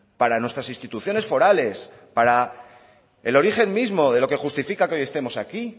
para nuestras instituciones forales para el origen mismo de lo que justifica que hoy estemos aquí